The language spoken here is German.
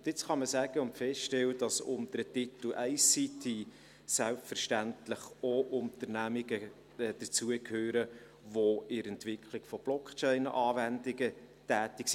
Jetzt kann man sagen und feststellen, dass unter den Titel ICT selbstverständlich auch Unternehmungen dazugehören, die in der Entwicklung von Blockchain-Anwendungen tätig sind.